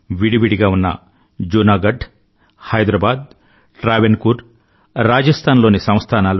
విడి విడిగా ఉన్న జూనా గఢ్ హైదరాబాద్ ట్రావెన్కూర్ రాజస్థాన్ లోని సంస్థానాలు